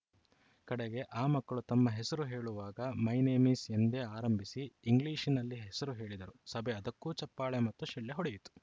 ಕಡೆಗೆ ಆ ಮಕ್ಕಳು ತಮ್ಮ ಹೆಸರು ಹೇಳುವಾಗ ಮೈ ನೇಮ್‌ ಈಸ್‌ ಎಂದೇ ಆರಂಭಿಸಿ ಇಂಗ್ಲಿಷ್‌ನಲ್ಲಿ ಹೆಸರು ಹೇಳಿದರು ಸಭೆ ಅದಕ್ಕೂ ಚಪ್ಪಾಳೆ ಮತ್ತು ಶಿಳ್ಳೆ ಹೊಡೆಯಿತು